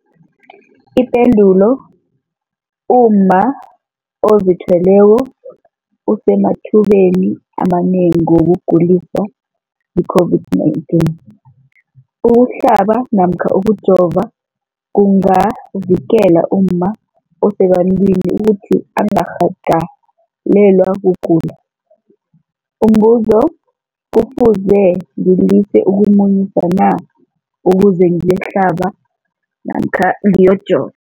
Ipendulo, umma ozithweleko usemathubeni amanengi wokuguliswa yi-COVID-19. Ukuhlaba namkha ukujova kungavikela umma osebantwini ukuthi angarhagalelwa kugula. Umbuzo, kufuze ngilise ukumunyisa na ukuze ngiyokuhlaba namkha ngiyokujova?